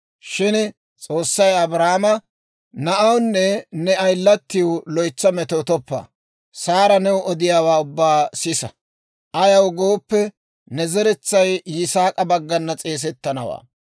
Shin S'oossay Abrahaame, «Na'awunne ne ayilatiw loytsa metoottoppa; Saara new odiyaawaa ubbaa sisa; ayaw gooppe, ne zeretsay Yisaak'a baggana s'eesettanawaa.